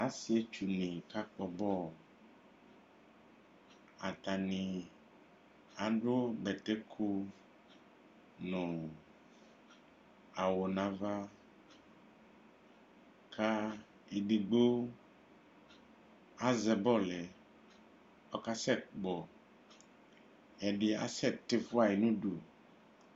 Asietsudini kakpɔ bɔlu atani adu bɛtɛ iku nu awu nava ɔluedigbo azɛ bɔlu yɛ kɔkasɛ kpɔ kɛdibi kasɛ tifuayi